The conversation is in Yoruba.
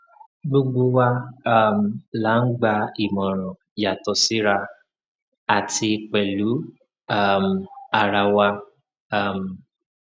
gbogbo wa um la ń gba ìmọràn yàtọ síra àti pẹlú um ara wa um